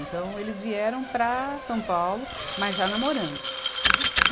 Então, eles vieram para São Paulo, mas já namorando.